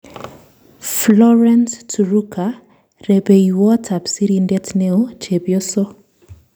Florence Turuka-Rupeiywot ap sirindet neoo-Chepyoso